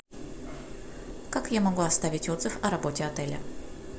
как я могу оставить отзыв о работе отеля